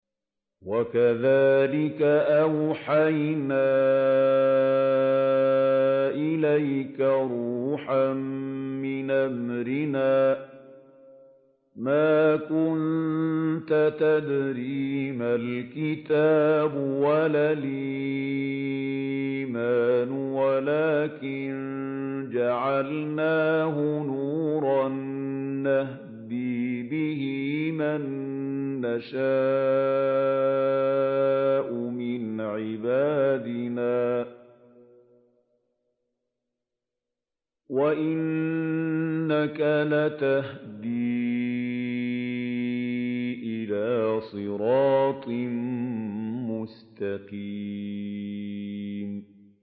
وَكَذَٰلِكَ أَوْحَيْنَا إِلَيْكَ رُوحًا مِّنْ أَمْرِنَا ۚ مَا كُنتَ تَدْرِي مَا الْكِتَابُ وَلَا الْإِيمَانُ وَلَٰكِن جَعَلْنَاهُ نُورًا نَّهْدِي بِهِ مَن نَّشَاءُ مِنْ عِبَادِنَا ۚ وَإِنَّكَ لَتَهْدِي إِلَىٰ صِرَاطٍ مُّسْتَقِيمٍ